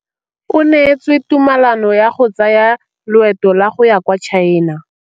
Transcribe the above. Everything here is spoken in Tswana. O neetswe tumalanô ya go tsaya loetô la go ya kwa China.